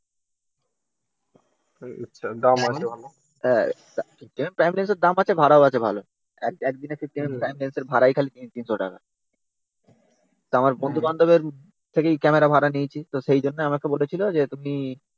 হ্যাঁ Nikon prime লেন্সের দাম আছে ভাড়াও আছে ভালো। একদিনে fifty এমএমপ্রাইম লেন্সের ভাড়া ই খালি three hundred টাকা। এবার বন্ধুবান্ধবের থেকে ক্যামেরা ভাড়া নিয়েছি। সেই জন্য বলেছিল আমাকে বলেছিল তুমি